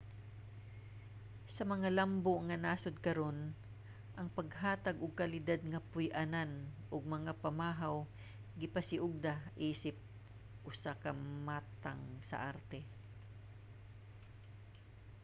sa mga lambo nga nasod karon ang paghatag og kalidad nga puy-anan ug mga pamahaw gipasiugda isip usa ka matang sa arte